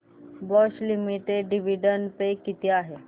Bosch limited dividend pay किती आहे